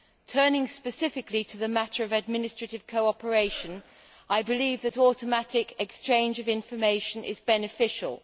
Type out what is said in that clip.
Turning specifically to the matter of administrative cooperation, I believe that automatic exchange of information is beneficial.